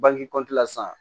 Bangekɔtila san